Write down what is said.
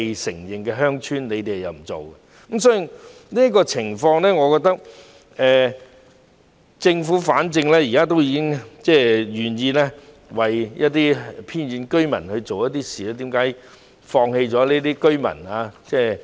政府沒有處理這些不被承認的鄉村，我覺得反正政府現時已經願意為一些偏遠居民做一些事，為何要放棄這些居民？